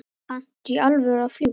Kanntu í alvöru að fljúga?